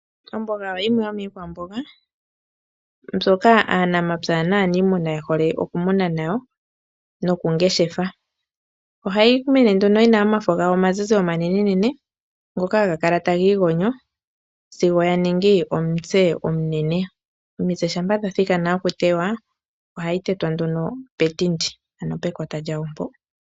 Omboga oyo yimwe yomiikwamboga. Mbyoka aanamapya naaniimuna ye hole okukuna nokungeshefa. Ohayi mene nduno yina omafo gawo omazizi omanene nene. Ngoka haga kala taga igonyo sigo ya ningi omutse omunene. Omitse shampa dha thikana okutewa ohayi tetwa nduno petindi ano pekota lyayo mpo.